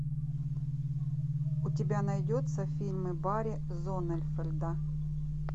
у тебя найдется фильмы барри зонненфельда